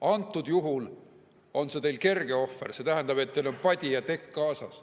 Antud juhul on see teil kerge ohver, teil on padi ja tekk kaasas.